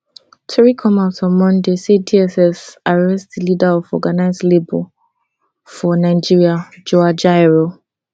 tori come out on monday say dss arrest di leader of organised labour for nigeria joe ajaero